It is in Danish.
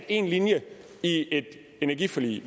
én linje i et energiforlig